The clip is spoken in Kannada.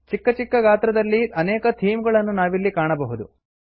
ಚಿಕ್ಕ ಚಿಕ್ಕ ಗಾತ್ರದಲ್ಲಿ ಅನೇಕ ಥೀಮ್ ಗಳನ್ನು ನಾವಿಲ್ಲಿ ಕಾಣಬಹುದು